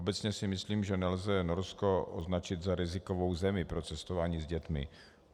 Obecně si myslím, že nelze Norsko označit za rizikovou zemi pro cestování s dětmi.